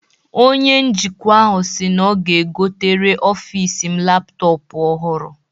Onye njikwa ahụ si na ọ ga-egotere ọfis m laptọpụ ọhụrụ.